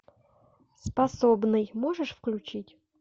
способный можешь включить